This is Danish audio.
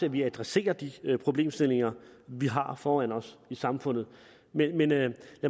at vi adresserer de problemstillinger vi har foran os i samfundet men men lad